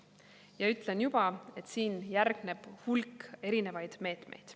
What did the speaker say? Ja ütlen juba, et siin järgneb hulk erinevaid meetmeid.